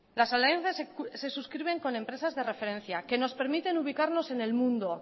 las alianzas se suscriben con empresas de referencia que nos permiten ubicarnos en el mundo